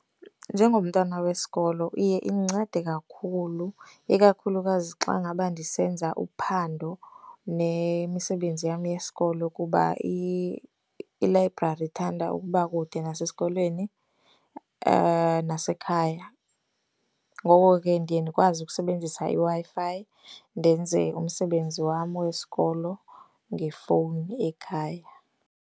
Njengomntwana wesikolo iye indincede kakhulu. Ikakhulukazi xa ngaba ndisenza uphando nemisebenzi yam yesikolo kuba ilayibrari ithanda ukuba kude nasesikolweni nasekhaya. Ngoko ke ndiye ndikwazi ukusebenzisa iWi-Fi ndenze umsebenzi wam wesikolo ngefowuni ekhaya.